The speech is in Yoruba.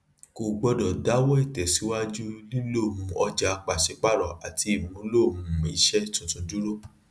kò gbọdọ dáwọ tẹsíwájú lílo um ọjà pàṣípààrọ àti ìmúlò ìmúlò um iṣẹ tuntun dúró